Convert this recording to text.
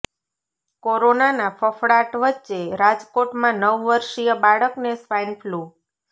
કોરોનાના ફફડાટ વચ્ચે રાજકોટમાં નવ વર્ષીય બાળકને સ્વાઇન ફ્લૂ